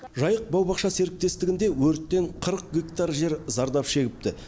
жайық бау бақша серіктестігінде өрттен қырық гектар жер зардап шегіпті